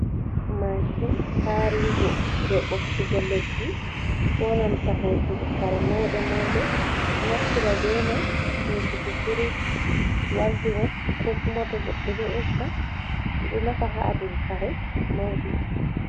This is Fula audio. Mashin karigo je ɓoptugo leɗɗi ko nanta hosugo f kare mauɗe mauɗe ɓe ɗo naftira be mai hosugo firish waldorob ko kuma to goɗɗo e'gga ɓe ɗo nafa ha adugo kare mauɗi.